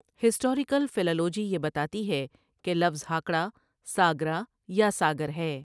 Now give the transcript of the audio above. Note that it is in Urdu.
ہسٹاریکل فیلالوجی یہ بتاتی ہے کہ لفظ ہاکڑہ ساگرا یا ساگر ہے۔